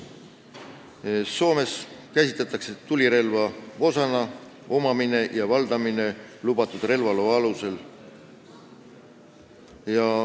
Soomes käsitatakse summuteid tulirelva osana, nende omamine ja valdamine on lubatud relvaloa alusel.